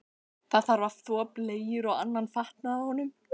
Það þarf að þvo bleyjur og annan fatnað af honum.